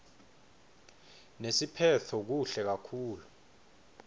nesiphetfo kuhle kakhulu